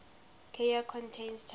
carrier contains tungsten